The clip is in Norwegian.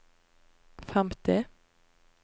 femti